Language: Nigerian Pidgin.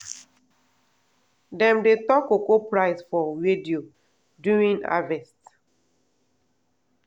dem dey talk cocoa price for radio during harvest.